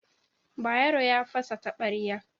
Bayero ya fasa taɓarya.